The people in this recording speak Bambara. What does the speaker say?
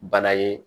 Bana ye